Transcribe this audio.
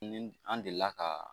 Ni an delila ka